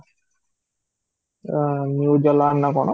ଅ new ଦଲାଲ ନା କଣ?